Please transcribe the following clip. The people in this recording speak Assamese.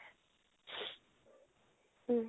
উম